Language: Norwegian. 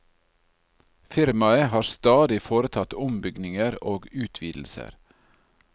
Firmaet har stadig foretatt ombygninger og utvidelser.